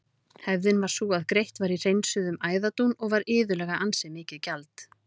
Hefðin var sú að greitt var í hreinsuðum æðadún og var iðulega ansi mikið gjald.